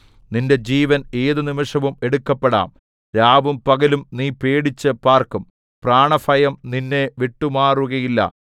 നിന്റെ ജീവൻ ഏതു നിമിഷവും എടുക്കപ്പെടാം രാവും പകലും നീ പേടിച്ചു പാർക്കും പ്രാണഭയം നിന്നെ വിട്ടുമാറുകയില്ല